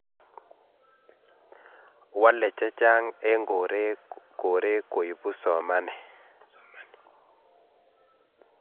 walee chechang en koree koibuu somanee